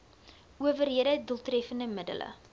owerhede doeltreffende middele